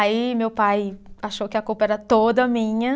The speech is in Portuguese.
Aí meu pai achou que a culpa era toda minha.